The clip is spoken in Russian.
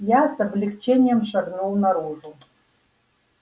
я с облегчением шагнул наружу